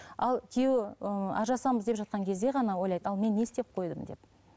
ал күйеуі ыыы ажырасамыз деп жатқан кезде ғана ойлайды ал мен не істеп қойдым деп